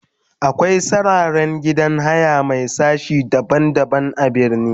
akwai sarraren gidan haya Mai sashi daban daban a birni.